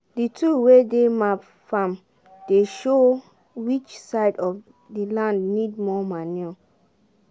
the tool wey dey map farm dey show which side of the land need more manure